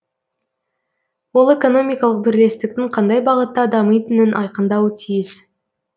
ол экономикалық бірлестіктің қандай бағытта дамитынын айқындауы тиіс